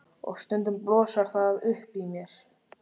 Og stundum blossar það upp í mér.